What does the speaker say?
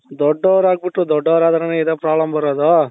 ದೊಡ್ಡೋರ್ ಆಗ್ಬಿಟ್ಟು ದೊಡ್ಡೋರಾದ್ರೆನೇ ಇದೆ problem ಬರೋದು